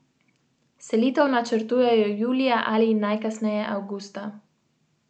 Dragonja meni, da so v Sloveniji zagotovljeni osnovni pogoji za zagon gospodarstva.